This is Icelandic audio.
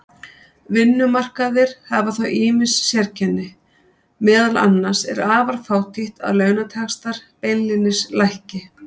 Vinnumarkaðir hafa þó ýmis sérkenni, meðal annars er afar fátítt að launataxtar beinlínis lækki.